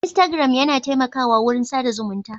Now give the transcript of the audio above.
Instagram yana taimakawa wurin sa da zumunta.